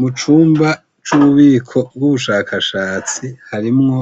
Mucumba c'ububiko bw'ubushakashatsi harimwo